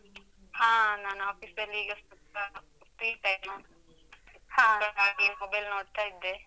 ಹಾ, ನಾನ್ office ಲ್ಲೀಗ ಸ್ವಲ್ಪ free time . ಸ್ವಲ್ಪ ಹಾಗೆ ಮೊಬೈಲ್ ನೋಡ್ತಾ ಇದ್ದೆ.